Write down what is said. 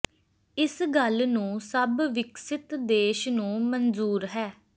ਇਸ ਗੱਲ ਨੂੰ ਸਭ ਵਿਕਸਿਤ ਦੇਸ਼ ਨੂੰ ਮਨਜ਼ੂਰ ਹੈ